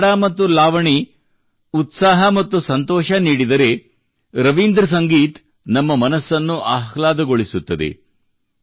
ಭಾಂಗ್ಡಾ ಮತ್ತು ಲಾವಣಿ ಉತ್ಸಾಹ ಮತ್ತು ಸಂತೋಷ ನೀಡಿದರೆ ರವೀಂದ್ರ ಸಂಗೀತವು ನಮ್ಮ ಮನಸ್ಸನ್ನು ಆಹ್ಲಾದಗೊಳಿಸುತ್ತದೆ